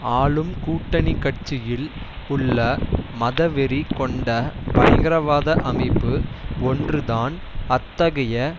ஆளும் கூட்டணி கட்சியில் உள்ள மதவெறி கொண்ட பயங்கரவாத அமைப்பு ஒன்று தான் அத்தகைய